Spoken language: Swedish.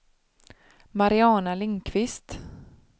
Mariana Lindquist